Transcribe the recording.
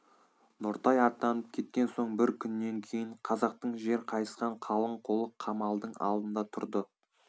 нұртай аттанып кеткен соң бір күннен кейін қазақтың жер қайысқан қалың қолы қамалдың алдында тұрды